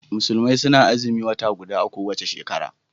Musulmai suna Azumin wata guda a kowace shekara